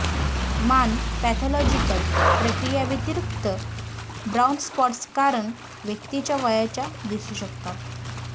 मान पॅथॉलॉजीकल प्रक्रिया व्यतिरिक्त ब्राऊन स्पॉट्स कारण व्यक्तीच्या वयाच्या दिसू शकतात